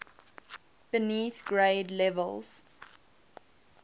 beneath grade levels